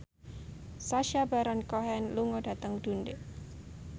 Sacha Baron Cohen lunga dhateng Dundee